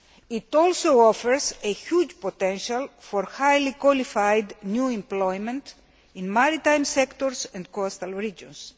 It also offers a huge potential for highly qualified new employment in maritime sectors and coastal regions.